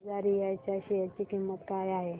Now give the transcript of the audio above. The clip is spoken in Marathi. तिजारिया च्या शेअर ची किंमत काय आहे